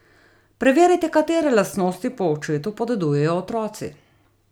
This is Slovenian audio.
Preverite, katere lastnosti po očetu podedujejo otroci!